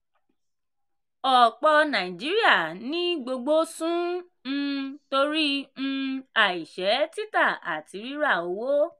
ọ̀pọ̀ nàìjíríà ní gbogbo sún um torí um àìṣẹ́ títà àti rírà owó.